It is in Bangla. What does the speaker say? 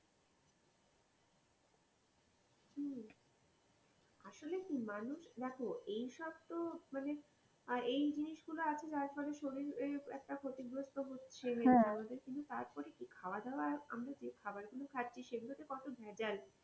বলে কি মানুষ দেখো এই সব তো মানে এই জিনিস গুলো আছে যার ফলে শরীরে একটা খতিগ্রস্ত হচ্ছে কিন্তু তারপরে খাবার দাবার আমরা যে খাবার গুলো খাচ্ছি সেগুলো কত ভেজাল।